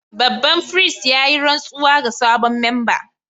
Babban firist ya yi rantsuwa ga sabon memba